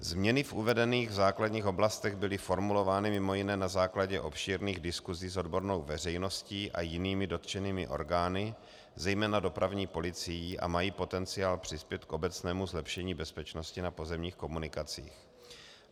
Změny v uvedených základních oblastech byly formulovány mimo jiné na základě obšírných diskusí s odbornou veřejností a jinými dotčenými orgány, zejména dopravní policií, a mají potenciál přispět k obecnému zlepšení bezpečnosti na pozemních komunikacích.